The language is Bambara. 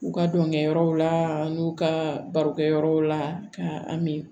U ka dɔnkɛ yɔrɔw la an n'u ka barokɛ yɔrɔw la ka an mi